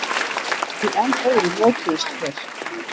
Í enn öðru mötuðust þeir.